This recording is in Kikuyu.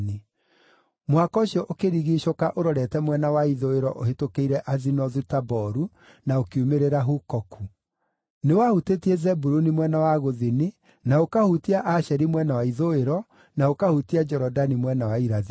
Mũhaka ũcio ũkĩrigiicũka ũrorete mwena wa ithũĩro ũhĩtũkĩire Azinothu-Taboru, na ũkiumĩrĩra Hukoku. Nĩwahutĩtie Zebuluni mwena wa gũthini, na ũkahutia Asheri mwena wa ithũĩro, na ũkahutia Jorodani mwena wa irathĩro.